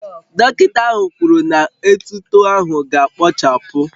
Dọkịta ahụ kwuru na etuto ahụ ga-akpochapụ